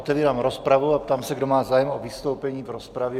Otevírám rozpravu a ptám se, kdo má zájem o vystoupení v rozpravě.